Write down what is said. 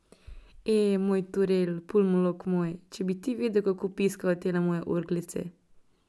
E, moj Turel, pulmolog moj, če bi ti vedel, kako piskajo tele moje orglice.